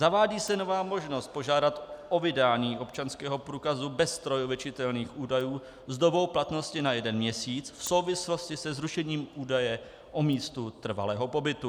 Zavádí se nová možnost požádat o vydání občanského průkazu bez strojově čitelných údajů s dobou platnosti na jeden měsíc v souvislosti se zrušením údaje o místu trvalého pobytu.